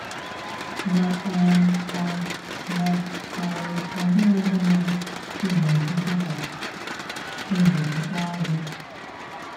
* Ma um ọ Ma um ọ dịghị ihe mere ị ga - eji kwe ka egwu jikpaa gị.